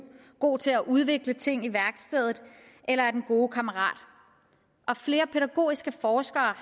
god til at udvikle ting i værkstedet eller er den gode kammerat flere pædagogiske forskere har